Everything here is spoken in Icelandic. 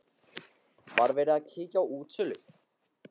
Jóhanna Margrét Gísladóttir: Var verið að kíkja á útsölu?